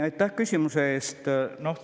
Aitäh küsimuse eest!